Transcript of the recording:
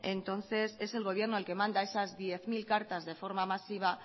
entonces es el gobierno el que manda esas diez mil cartas de forma masiva